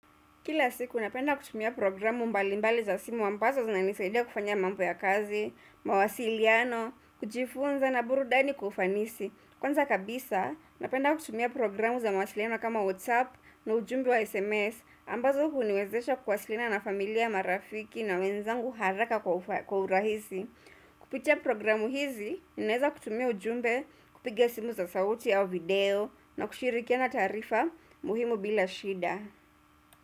Kila siku napenda kutumia programu mbalimbali za simu ambazo zinanisaidia kufanya mambo ya kazi, mawasiliano, kujifunza na burudani kwa ufanisi. Kwanza kabisa, napenda kutumia programu za mawasiliano kama WhatsApp na ujumbe wa SMS ambazo huniwezesha kuwasiliana na familia marafiki na wenzangu haraka kwa urahisi. Kupitia programu hizi ninaeza kutumia ujumbe, kupiga simu za sauti au video na kushirikiana taarifa muhimu bila shida.